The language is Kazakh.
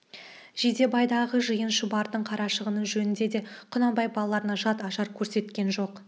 жидебайдағы жиын шұбардың қарашығыны жөнінде де құнанбай балаларына жат ажар көрсеткен жоқ